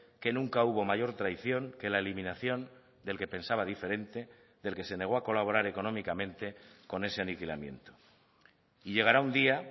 que nunca hubo mayor traición que la eliminación del que pensaba diferente del que se negó a colaborar económicamente con ese aniquilamiento y llegará un día